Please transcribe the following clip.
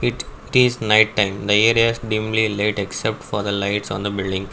it it is night time the area is deemedly late except for the lights on the building.